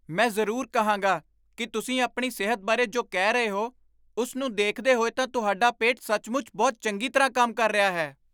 ਮੈਂ ਜ਼ਰੂਰ ਕਹਾਂਗਾ ਕਿ ਤੁਸੀਂ ਆਪਣੀ ਸਿਹਤ ਬਾਰੇ ਜੋ ਕਹਿ ਰਹੇ ਹੋ, ਉਸ ਨੂੰ ਦੇਖਦੇ ਹੋਏ ਤਾਂ ਤੁਹਾਡਾ ਪੇਟ ਸੱਚਮੁੱਚ ਬਹੁਤ ਚੰਗੀ ਤਰ੍ਹਾਂ ਕੰਮ ਕਰ ਰਿਹਾ ਹੈ।